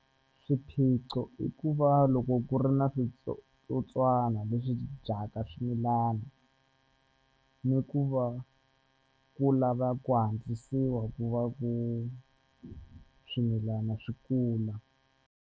Swiphiqo i ku va loko ku ri na switsotswana leswi dyaka swimilana ni ku va ku lava ku antswisiwa ku va ku swimilana swi kula.